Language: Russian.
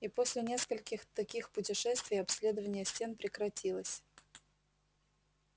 и после нескольких таких путешествий обследование стен прекратилось